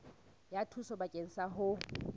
ya thuso bakeng sa ho